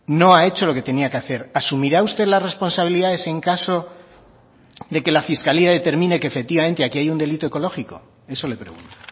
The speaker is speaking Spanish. no ha hecho lo que tenía que hacer asumirá usted las responsabilidades en caso de que la fiscalía determine que efectivamente aquí hay un delito ecológico eso le pregunto